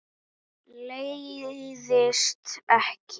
Leiðist ekki.